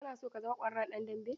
Kana so ka zama ƙwararren ɗan dambe?